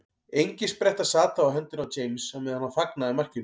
Engispretta sat þá á hendinni á James á meðan hann fagnaði markinu.